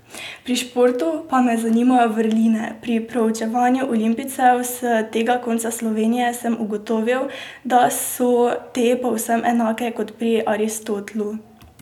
Pri športu pa me zanimajo vrline, pri proučevanju olimpijcev s tega konca Slovenije sem ugotovil, da so te povsem enake kot pri Aristotelu.